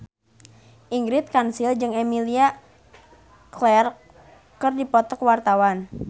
Ingrid Kansil jeung Emilia Clarke keur dipoto ku wartawan